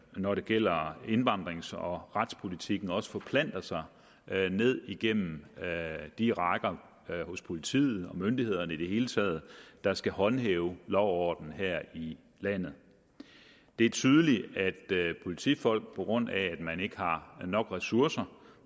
når det gælder indvandrer og retspolitikken også forplanter sig ned igennem de rækker hos politiet og myndighederne i det hele taget der skal håndhæve lov og orden her i landet det er tydeligt at politifolk på grund af at man ikke har nok ressourcer